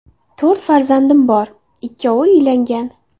To‘rt farzandim bor, ikkovi uylangan.